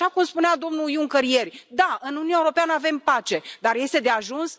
Așa cum spunea domnul Juncker ieri da, în Uniunea Europeană avem pace, dar este de ajuns?